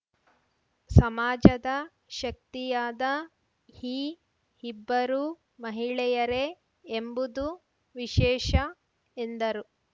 ಸಮಾಜದ ಶಕ್ತಿಯಾದ ಈ ಇಬ್ಬರೂ ಮಹಿಳೆಯರೇ ಎಂಬುದು ವಿಶೇಷ ಎಂದರು